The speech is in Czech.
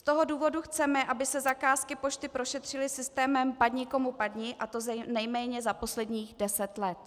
Z toho důvodu chceme, aby se zakázky pošty prošetřily systémem padni komu padni, a to nejméně za posledních deset let.